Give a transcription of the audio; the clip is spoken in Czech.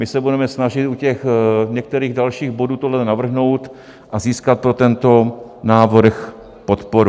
My se budeme snažit u těch některých dalších bodů tohle navrhnout a získat pro tento návrh podporu.